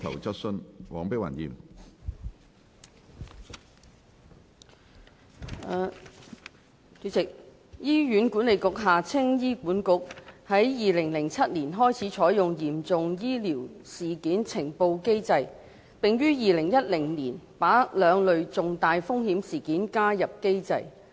主席，醫院管理局於2007年開始採用嚴重醫療事件呈報機制，並於2010年把兩類重大風險事件加入機制。